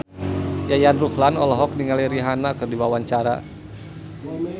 Yayan Ruhlan olohok ningali Rihanna keur diwawancara